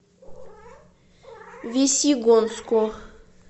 весьегонску